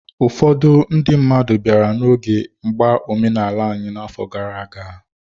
Ụfọdụ ndị mmadụ bịara n'oge mgba omenala anyị n'afọ gara aga